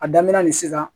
A daminɛ ni sisan